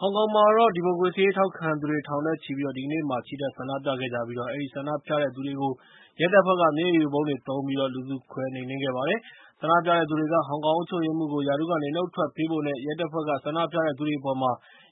ဟောင်ကောင်မှာတော့ ဒီမိုကရေစီရေးထောက်ခံသူတွေထောင်နဲ့ချီ ၊ ဒီကနေ့ ချီတက်ဆန္ဒပြခဲ့ကြပြီး၊ အဲဒီ ဆန္ဒပြတဲ့သူတွေကို ရဲတပ်ဖွဲ့က မျက်ရည်ယိုဗုံးတွေသုံးပြီး လူစုခွဲခဲ့ကြပါတယ်။ ဆန္ဒပြတဲ့သူတွေက ဟောင်ကောင်အုပ်ချုပ်ရေးမှူးကို ရာထူးကနေ နှုတ်ထွက်ပေးဖို့နဲ့ ရဲတပ်ဖွဲ့က ဆန္ဒပြတဲ့သူတွေအပေါ်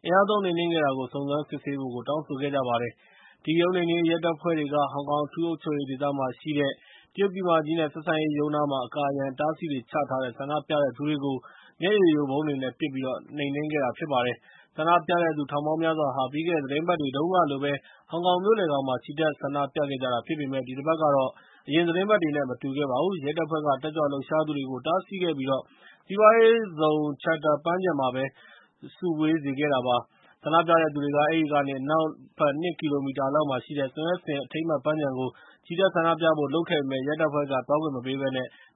အင်အားသုံးနှိမ်နှင်းခဲ့တာကို စုံစမ်းစစ်ဆေးဖို့ တောင်းဆိုခဲ့ကြပါတယ်။ အဓိကရုဏ်းနှိမ်နှင်းရေးရဲတပ်ဖွဲ့တွေက ဟောင်ကောင်အထူးအုပ်ချုပ်ရေးဒေသမှာရှိတဲ့ တရုတ်ပြည်မကြီး နဲ့ ဆက်ဆံရေးရုံးနားမှာ အကာအရံအတားအဆီးတွေ ချထားတဲ့ ဆန္ဒပြသူတွေကို မျက်ရည်ယိုဗုံးတွေနဲ့ ပစ်ပြီး နှင်းခဲ့ပါတယ်။ ဆန္ဒပြတဲ့သူထောင်ပေါင်းများစွာဟာ ပြီးခဲ့တဲ့သီတင်းပတ်တွေတုန်းကလိုပဲ၊ ဟောင်ကောင်မြို့လယ်ခေါင်းမှာ ချီတက်ဆန္ဒပြခဲ့ကြတာဖြစ်ပေမယ့် ဒီတပတ်ကတော့ အရင်သီတင်းပတ်တွေ နဲ့ မတူပါဘူး။ ရဲတပ်ဖွဲ့က တက်ကြွလှုပ်ရှားသူတွေကို တားဆီးခဲ့ပြီး၊ စီးပွားရေးဇုံက Chater ပန်းခြံမှာပဲ စုဝေးစေခဲ့ပါတယ်။ ဆန္ဒပြတဲ့သူတွေက အဲဒီကနေ အနောက်ဘက် ၂ ကီလိုမီတာလောက်မှာရှိတဲ့ ဆွန်ယက်ဆင် အထိမ်းအမှတ် ပန်းခြံကို ချီတက်ဆန္ဒပြဖို့လုပ်ခဲ့ပေမယ့်၊ ရဲတပ်ဖွဲ့က သွားခွင့်မပေးဘဲ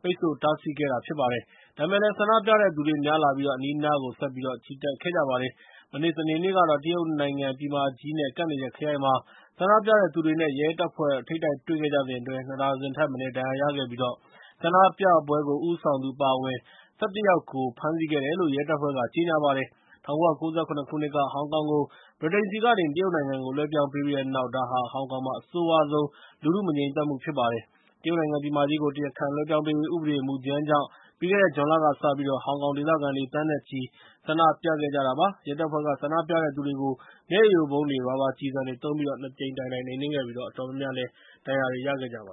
ပိတ်ဆို့တားဆီးခဲ့တာဖြစ်ပါတယ်။ ဒါပေမဲ့လည်း ဆန္ဒပြတဲ့သူတွေများလာပြီး၊ အနီးအနားကို ဆက်ပြီးချီတက်ခဲ့ကြပါတယ်။ မနေ စနေနေ့ကတော့ တရုတ်နိုင်ငံပြည်မကြီး နဲ့ ကပ်နေတဲ့ ခရိုင်မှာ ဆန္ဒပြတဲ့သူတွေနဲ့ ရဲတွေနဲ့ ထိပ်တိုက်တွေ့ခဲ့ကြစဉ်အတွင်း ၂ ဒါဇင်ထက်မနည်း ဒဏ်ရာရခဲ့ကြပြီး၊ ဆန္ဒပြပွဲကို ဦးဆောင်သူ အပါအဝင် ၁၁ ယောက် ဖမ်းဆီခဲ့တယ်လို့ ရဲတပ်ဖွဲ့ ကြေညာပါတယ်။ ၁၉၉၇ ခုနှစ်က ဟောင်ကောင်ကို ဗြိတိန်ဆီကနေ တရုတ်နိုင်ငံကို လွှဲပြောင်းပေးပြီးတဲ့နောက် ဒါဟာ ဟောင်ကောင်မှာ အဆိုးရွားဆုံး လူထုမငြိမ်သက်မှုဖြစ်ပါတယ်။ တရုတ်နိုင်ငံပြည်မကြီးကို တရားခံလွှဲပြောင်းပေးရေးဥပဒေမူကြမ်းကြောင့် ပြီးခဲ့တဲ့ဇွန်လကစပြီး ဟောင်ကောင်ဒေသခံတွေ သန်းနဲ့ချီပြီး ဆန္ဒပြခဲ့ကြတာဖြစ်ပါတယ်။ ရဲတပ်ဖွဲ့က ဆန္ဒပြတဲ့သူတွေကို မျက်ရည်ယိုဗုံးတွေ၊ ရာဘာကျည်ဆံတွေ သုံးပြီး ၂ ကြိမ်တိုင်တိုင် နှိမ်နှင်းခဲ့ပြီး၊ အတော်များများ ဒဏ်ရာတွေရခဲ့ကြပါ